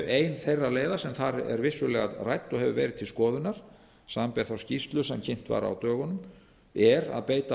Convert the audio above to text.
ein þeirra leiða sem þar er vissulega rædd og hefur verið til skoðunar samanber þá skýrslu sem kynnt var á dögunum er að beita